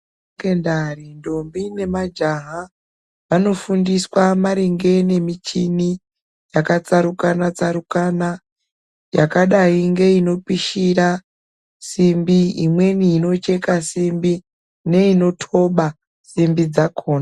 Kusekondari ndombi namajaha vanofundiswa maringe nemichini yakatsarukana tsarukana yakadai ngeinomishira simbi imweni inocheka simbi neinotoba simbi dzakona.